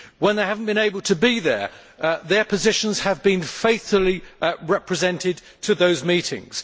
When they have not been able to be there, their positions have been faithfully represented to those meetings.